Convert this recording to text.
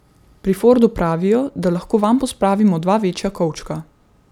Pri Fordu pravijo, da lahko vanj pospravimo dva večja kovčka.